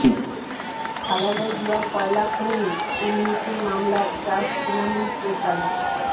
খালেদা জিয়ার কয়লা খনি দুর্নীতি মামলার চার্জ শুনানি পেছাল